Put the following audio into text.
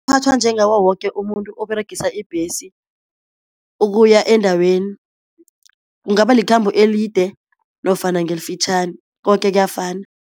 njengawo woke umuntu oberegisa ibhesi ukuya endaweni kungaba likhambo elide nofana ngelifitjhani koke kuyafana.